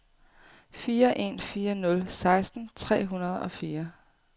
fire en fire nul seksten tre hundrede og fire